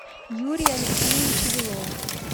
юрия алексеевича белова